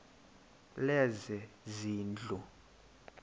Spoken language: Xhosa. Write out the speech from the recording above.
lezezindlu